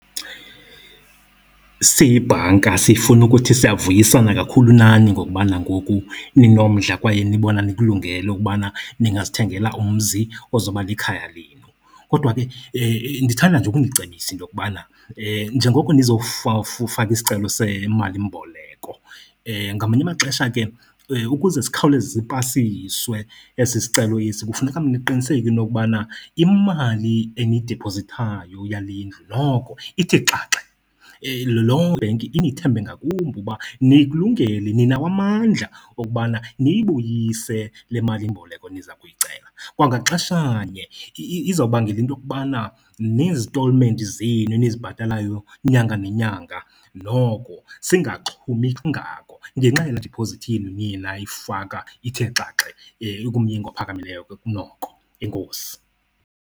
Siyibhanka sifuna ukuthi siyavuyisana kakhulu nani ngokubana ngoku ninomdla kwaye nibona nikulungele ukubana ningazithengela umzi ozoba likhaya lenu. Kodwa ke ndithanda nje ukunicebisa into yokubana njengoko faka isicelo semalimboleko, ngamanye amaxesha ke ukuze sikhawuleze sipasiswe esi sicelo esi kufuneka niqiniseke into yokubana imali eniyidiphozithayo yale ndlu noko ithi xaxe. Loo ibhenki inithembe ngakumbi uba nikulungele, ninawo amandla wokubana niyibuyise le malimboleko niza kuyicela. Kwangaxeshanye izobangela into yokubana nezitolimenti zenu nizibhatalayo inyanga nenyanga, noko singaxhumi kangako ngenxa yalaa diphozithi yenu niye nayifaka ithe xaxe, ikumyinge ophakamileyo ke kunoko. Enkosi.